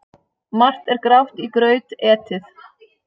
Margt er grátt í graut etið.